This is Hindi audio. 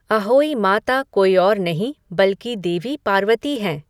अहोई माता कोई और नहीं बल्कि देवी पार्वती हैं।